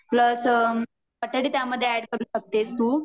plus बटाटे त्यामध्ये add करु शकतेस तू